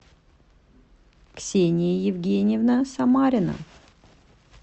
ксения евгеньевна самарина